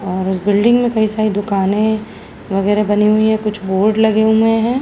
और इस बिल्डिंग में कई सारी दुकाने वगैरा बने हुई हैं। कुछ बोर्ड लगे हुए हैं।